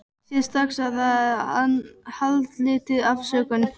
Sér strax að það er haldlítil afsökun.